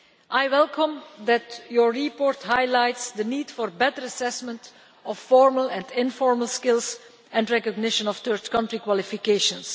I welcome that your report highlights the need for better assessment of formal and informal skills and recognition of third-country qualifications.